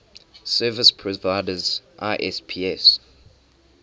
service providers isps